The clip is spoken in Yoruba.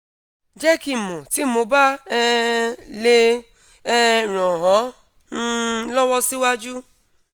jẹ ki n mọ ti mo ba um le um ran ọ um lọwọ siwaju